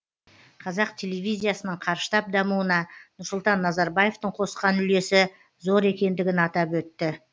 қазақ телевизиясының қарыштап дамуына нұрсұлтан назарбаевтың қосқан үлесі зор екендігін атап өтті